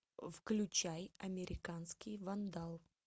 включай американский вандал